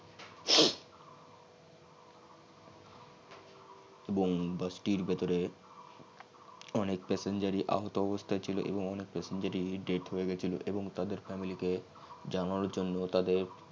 এবং বাসটির ভেতরে অনেক passenger আহত অবস্থায় ছিল এবং অনেক passenger ই dead হয়ে গেছিলো এবং তাদের family তে জানানোর জন্য তাদের বন